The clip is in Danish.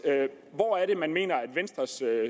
hvor er det man mener at venstres